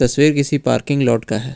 तस्वीर किसी parking lot का है।